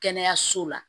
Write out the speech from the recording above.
Kɛnɛyaso la